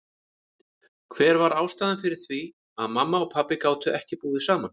Hver var ástæðan fyrir því að mamma og pabbi gátu ekki búið saman?